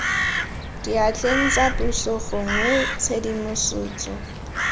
diatleng tsa puso gongwe tshedimosetso